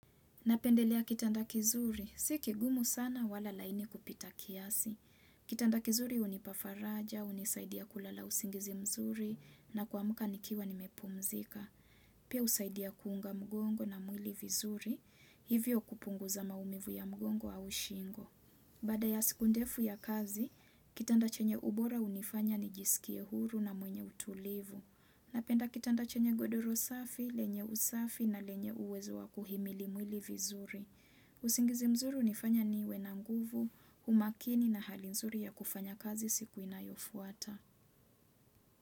Napendelea kitanda kizuri. Si kigumu sana wala laini kupita kiasi. Kitanda kizuri hunipa faraja, hunisaidia kulala usingizi mzuri na kuamka nikiwa nimepumzika. Pia husaidia kuunga mgongo na mwili vizuri. Hivyo kupunguza maumivu ya mgongo au shingo. Baada ya siku ndefu ya kazi, kitanda chenye ubora hunifanya nijisikie huru na mwenye utulivu. Napenda kitanda chenye godoro safi, lenye usafi na lenye uwezo wa kuhimili mwili vizuri. Usingizi mzuri hunifanya niwe na nguvu, umakini na hali nzuri ya kufanya kazi siku inayofuata.